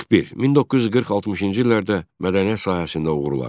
41. 1940-60-cı illərdə mədəniyyət sahəsində uğurlar.